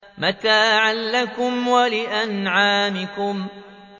مَتَاعًا لَّكُمْ وَلِأَنْعَامِكُمْ